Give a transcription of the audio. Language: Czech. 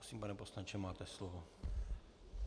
Prosím, pane poslanče, máte slovo.